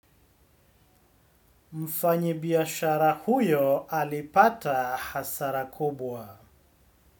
Mfanyi biashara huyo alipata hasara kubwa.